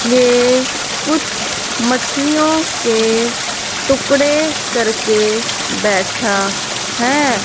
ये कुछ मछलियों के टुकड़े करके बैठा है।